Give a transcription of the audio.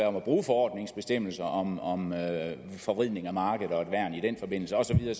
om at bruge forordningsbestemmelserne om om forvridning af markedet og et værn i den forbindelse og så videre